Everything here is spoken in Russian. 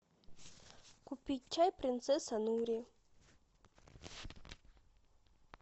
купить чай принцесса нури